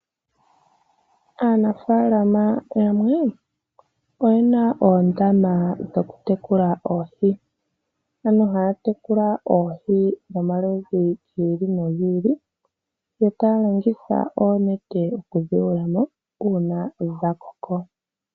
Aanafalama yamwe oyena oondama dhoku tekula oohi dhayookathana. Ohaa longitha oonete okuyula mo oohi moondama ngele dhakoko, opo yekedhilandithe po.